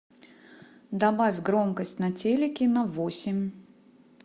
добавь громкость на телике на восемь